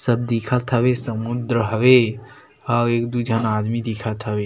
सब दिखत हवे समुद्र हवे और एक दू जन आदमी दिखत हवे।